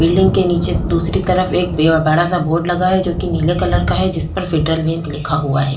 Building के नीचे दूसरी तरफ एक बेवा बड़ा-सा बोर्ड लगा है जो कि नीले कलर का है जिस पर फेडरल बैंक लिखा हुआ है।